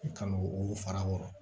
Kan'o olu fara o kan